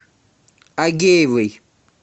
агеевой